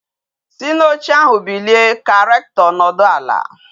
Si na oche ahu bilie ka Rectọ nọdụ ala!